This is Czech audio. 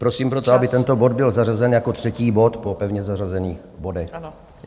Prosím proto, aby tento bod byl zařazen jako třetí bod po pevně zařazených bodech.